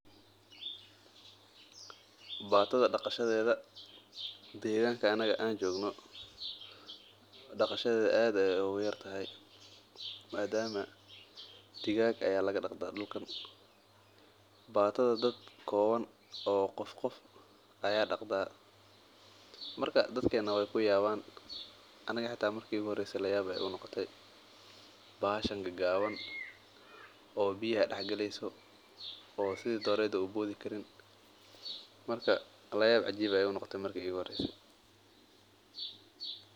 Batada daqashadeeda deeganka anaga aan joogno aad ayeey ugu yartahay madama digaag ayaan daqanaa dadka waa ku yaabana aniga xitaa waana kayaabe bahasha gabaan oo biyaha dex galeysa oo boodi Karin.